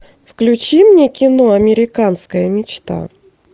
включи мне кино американская мечта